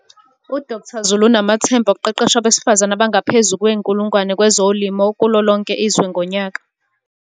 U-Doktha Zulu unamathemba okuqeqesha abesifazane abangaphezu kwe-1 000 kwezolimo kulolonke izwe ngonyaka.